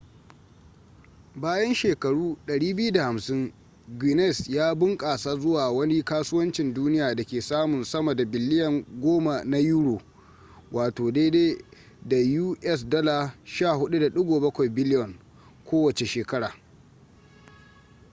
bayan shekaru 250 guinness ya bunƙasa zuwa wani kasuwancin duniya da ke samun sama da biliyan 10 na euro us$14.7 biliyan kowace shekara